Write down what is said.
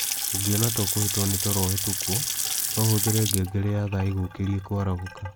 Ũngĩona ta ungĩhitwo ni toro ũhitũkwo, no ũhũthĩre ngengere ya thaa ĩgukĩrie kũarahũka.